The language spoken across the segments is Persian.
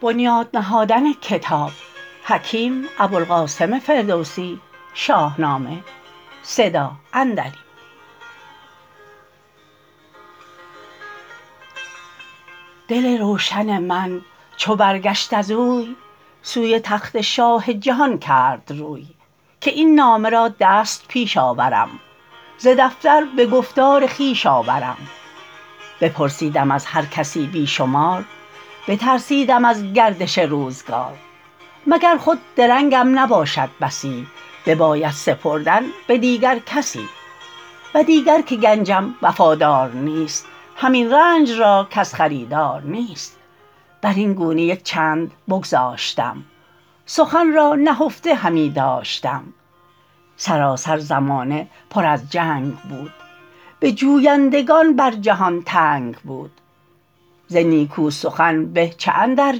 دل روشن من چو برگشت از اوی سوی تخت شاه جهان کرد روی که این نامه را دست پیش آورم ز دفتر به گفتار خویش آورم بپرسیدم از هر کسی بی شمار بترسیدم از گردش روزگار مگر خود درنگم نباشد بسی بباید سپردن به دیگر کسی و دیگر که گنجم وفادار نیست همین رنج را کس خریدار نیست بر این گونه یک چند بگذاشتم سخن را نهفته همی داشتم سراسر زمانه پر از جنگ بود به جویندگان بر جهان تنگ بود ز نیکو سخن به چه اندر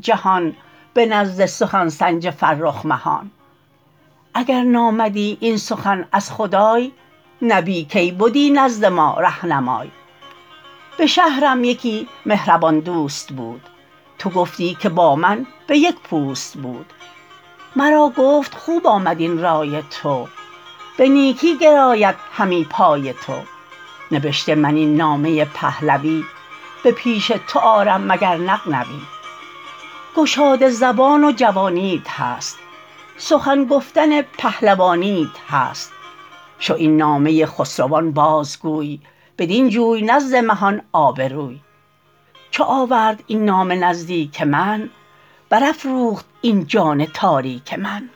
جهان به نزد سخن سنج فرخ مهان اگر نامدی این سخن از خدای نبی کی بدی نزد ما رهنمای به شهرم یکی مهربان دوست بود تو گفتی که با من به یک پوست بود مرا گفت خوب آمد این رای تو به نیکی گراید همی پای تو نبشته من این نامه پهلوی به پیش تو آرم مگر نغنوی گشاده زبان و جوانیت هست سخن گفتن پهلوانیت هست شو این نامه خسروان باز گوی بدین جوی نزد مهان آبروی چو آورد این نامه نزدیک من بر افروخت این جان تاریک من